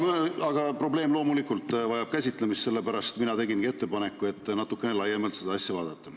Probleem vajab loomulikult käsitlemist, sellepärast mina tegingi ettepaneku seda asja natukene laiemalt vaadata.